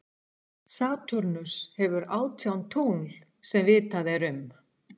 Satúrnus hefur átján tungl sem vitað er um.